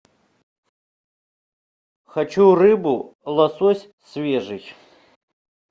хочу рыбу лосось свежий